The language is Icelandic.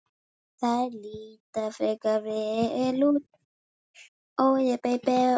Þær líta frekar vel út.